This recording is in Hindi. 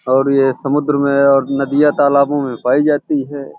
और ये समुन्द्र में और नदियाँ तालाबों में पाई जाती है।